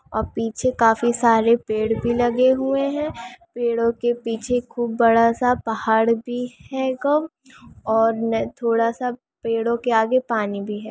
पीछे काफी सारे पेड़ भी लगे हुए है पेड़ों के पीछे खुब बड़ा सा पहाड़ भी है |और में थोड़ा सा पेड़ो के आगे पानी भी है |